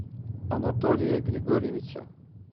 анатолия григорьевича